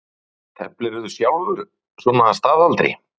Birta Björnsdóttir: Teflirðu sjálfur svona að staðaldri?